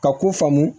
Ka ko faamu